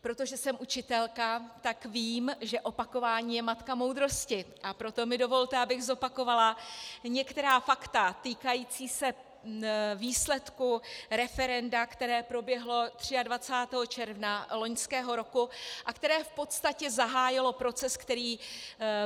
Protože jsem učitelka, tak vím, že opakování je matka moudrosti, a proto mi dovolte, abych zopakovala některá fakta týkající se výsledku referenda, které proběhlo 23. června loňského roku a které v podstatě zahájilo proces, který